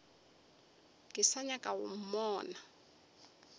ke sa nyaka go mmona